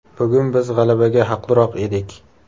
Bugun biz g‘alabaga haqliroq edik.